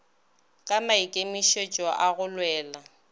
ka maikemišitšo a go lwela